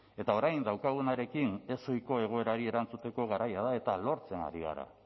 eta orain daukagunarekin ezohiko egoerari erantzuteko garaia da eta lortzen ari gara